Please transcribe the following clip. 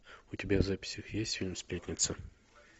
у тебя в записях есть фильм сплетница